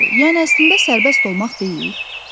Yəni əslində sərbəst olmaq deyil?